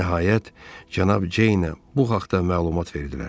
Nəhayət, Cənab Ceynə bu haqda məlumat verildi.